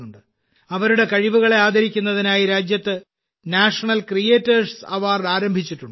അവരുടെ കഴിവുകളെ ആദരിക്കുന്നതിനായി രാജ്യത്ത് നാഷണൽ ക്രിയേറ്റേഴ്സ് അവാർഡ് ആരംഭിച്ചിട്ടുണ്ട്